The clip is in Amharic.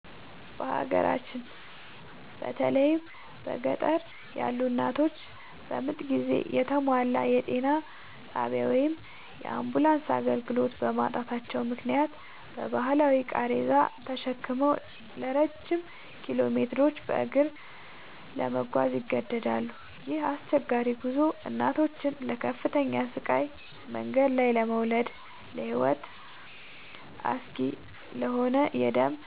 በሀገራችን በተለይም በገጠር ያሉ እናቶች በምጥ ጊዜ የተሟላ የጤና ጣቢያ ወይም የአምቡላንስ አገልግሎት በማጣታቸው ምክንያት በባህላዊ ቃሬዛ ተሸክመው ረጅም ኪሎሜትሮችን በእግር ለመጓዝ ይገደዳሉ። ይህ አስቸጋሪ ጉዞ እናቶችን ለከፍተኛ ስቃይ፣ መንገድ ላይ ለመውለድና ለሕይወት አስጊ ለሆነ የደም